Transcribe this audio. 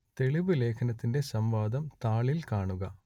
തെളിവ് ലേഖനത്തിന്റെ സംവാദം താളിൽ കാണുക